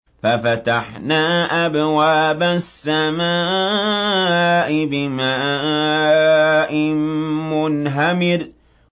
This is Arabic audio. فَفَتَحْنَا أَبْوَابَ السَّمَاءِ بِمَاءٍ مُّنْهَمِرٍ